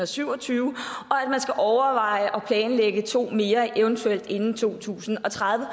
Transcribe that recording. syv og tyve og at man skal overveje at planlægge to mere eventuelt inden to tusind og tredive